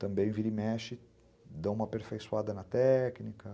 Também vira e mexe, dá uma aperfeiçoada na técnica...